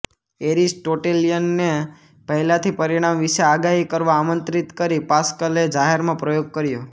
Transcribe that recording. એરિસ્ટોટેલીયનને પહેલાંથી પરિણામ વિશે આગાહી કરવા આમંત્રિત કરી પાસ્કલે જાહેરમાં પ્રયોગ કર્યો